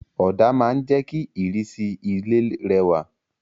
Òdà ma n je ki ìrísí ilé rẹwà